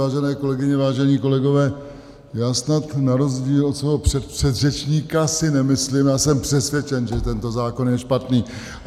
Vážené kolegyně, vážení kolegové, já snad na rozdíl od svého předpředřečníka si nemyslím, já jsem přesvědčen, že tento zákon je špatný.